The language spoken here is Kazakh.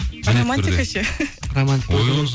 а романтика ше